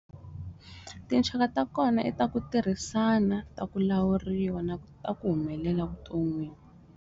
Tinxaka ta kona i ta ku tirhisana ta ku lawuriwa ta ku humelela vuton'wini.